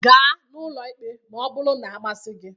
Gaa n'ụlọ ikpe ma ọ bụrụ na-amasị gị!